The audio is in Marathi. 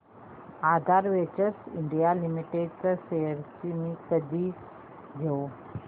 आधार वेंचर्स इंडिया लिमिटेड शेअर्स मी कधी घेऊ